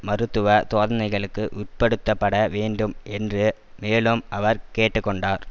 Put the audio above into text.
மருத்துவ தோதனைகளுக்கு உட்படுத்தப்பட வேண்டும் என்று மேலும் அவர் கேட்டு கொண்டார்